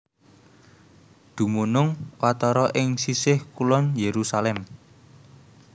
Dumunung watara ing sisih kulon Yerusalem